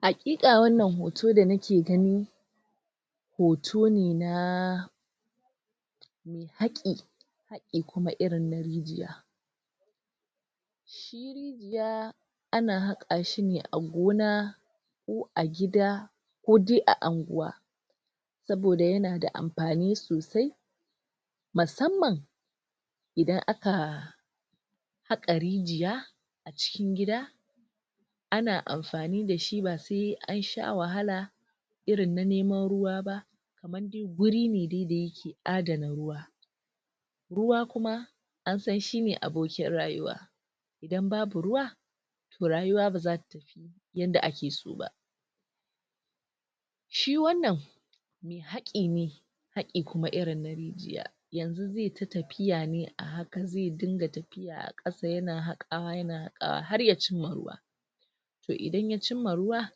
Hakika wannan hoto da nake gani hoto ne na haki irin na rijiya ya ana habka shi ne a gona ko a gida ko dai a anguwa saboda yana da amfani sosai masamman idan aka haka rigiya cikin gida ana amfani da shi ba sai an sha wahala irin na neman ruwa ba kaman dai wuri dai da yake ada rayuwa ruwa kuma an san shi ne abokin rayuwa idan babu ruwa toh rayuwa baza ta tafi yar da ake so ba shi wannan haki ne haki kuma na rijiya yanzu zai ta tafiya ne a hakan, zai dinga tafiya a hakan, sai yana hakawa, na hakawa, har ya cinma ruwa toh idan ya cinma ruwa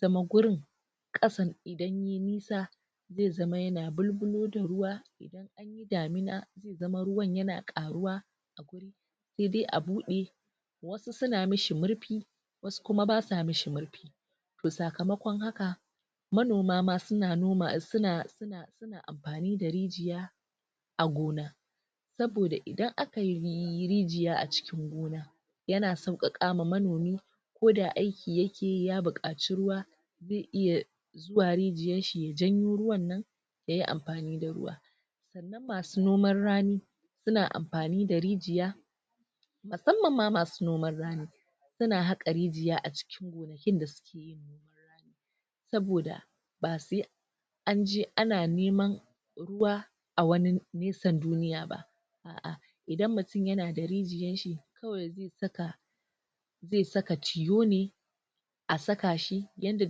zama wurin kasan idan yayi nisa, zai zama yana bulbulo da ruwa damina ya zama ruwan yana karuwa sai dai a bude su suna mi shi murfi wasu kuma basu mishi murfi toh sakamakon haka manoma ma suna noma suna amfani da rijiya a gona saboda idan aka yi rigiya a cikin gona yana so ka kama manomi ko da aiki yake yi, ya bukaci ruwa zai iya zuwa rijiyan shi ya janyo ruwan nan yayi amfani da ruwa masu noman rami suna amfani da rijiya masamman ma masu noman rami suna hakka rijiya a cikin wallakin da suke saboda ba sai an je ana neman ruwa a ruwa a wani nesan duniya ba a'a idan mutum yana da rijiyan shi kawai zai saka zai saka chiyo ne a saka shi yadda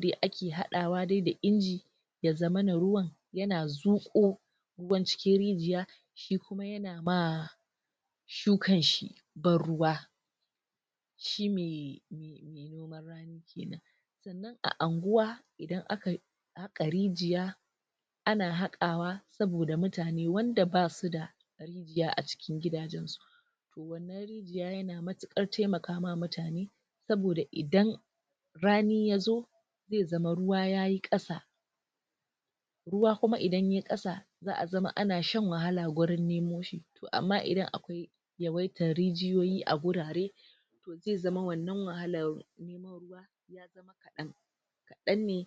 dai ake hada wa dai da inji ya zamana ruwan yana zuko ruwan cikin rijiya shi kuma yana ma dukan shi bar ruwa shi mai a anguwa idan aka ka rijiya ana hakwa saboda mutani wanda basu da rijiya ya a cikin gidajen su ya yana mutukar taimakawa mutani saboda idan rani ya zo zai zama ruwa yayi kasa ruwa kuma idan yayi kasa, za'a zama ana shan wahala a wurin nemo shi amma idan akwai rijiyoyi a wurare zai zama wannan wahalar kadan ne